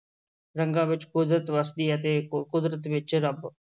ਰੰਗਾਂ ਵਿੱਚ ਕੁਦਰਤ ਵੱਸਦੀ ਹੈ ਤੇ ਕ~ ਕੁਦਰਤ ਵਿੱਚ ਰੱਬ।